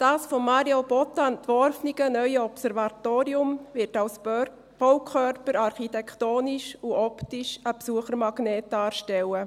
Das von Mario Botta entworfene neue Observatorium wird als Baukörper architektonisch und optisch einen Besuchermagnet darstellen.